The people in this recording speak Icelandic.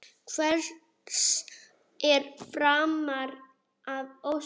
Hvers er framar að óska?